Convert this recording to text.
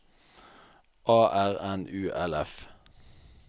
A R N U L F